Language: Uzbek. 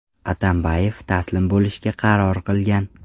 Atambayev taslim bo‘lishga qaror qilgan.